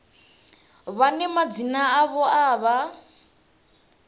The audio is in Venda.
vhane madzina avho a vha